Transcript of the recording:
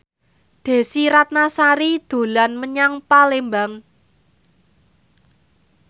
Desy Ratnasari dolan menyang Palembang